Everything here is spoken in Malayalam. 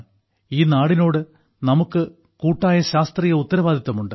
ഈ നാടിനോട് നമുക്ക് കൂട്ടായ ശാസ്ത്രീയ ഉത്തരവാദിത്തവുമുണ്ട്